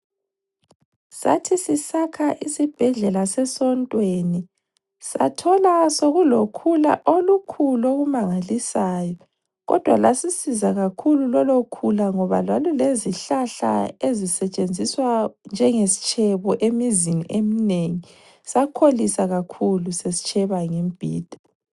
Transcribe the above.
Sathi sisakha isibhedlela sesontweni sathola sokulokhula olukhulu okumangalisayo, kodwa lasisiza kakhulu lolukhula. Lwalulezihlahla ezisetshenziswa njengesitshebo emizini eminengi. Sakholisa kakhulu sesitsheba ngemibhida.